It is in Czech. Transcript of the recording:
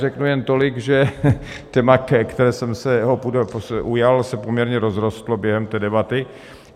Řeknu jen tolik, že téma, kterého jsem se ujal, se poměrně rozrostlo během té debaty.